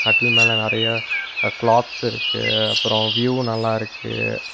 கட்டில் மேல நெறையா அ கிளாத்ஸ் இருக்கு அப்றோ வியூ நல்லா இருக்கு.